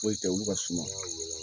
Foyi tɛ olu ka suma